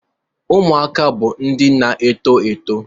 Ụmụaka bụ ndị na-eto eto